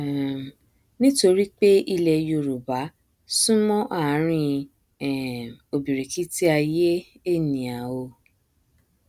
um nítorí pé ilẹ yorùbá súnmọ ààrin um ọbìrìkìtì aiyé ènìà ò